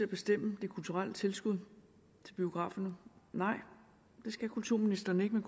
bestemme de kulturelle tilskud til biograferne nej det skal kulturministeren ikke